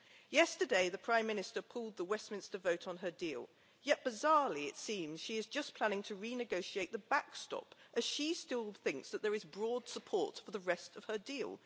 Yesterday, the Prime Minister pulled the Westminster vote on her deal, yet bizarrely it seems that she is just planning to renegotiate the backstop, as she still thinks that there is broad support for the rest of her deal.